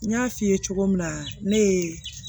N y'a f'i ye cogo min na ne ye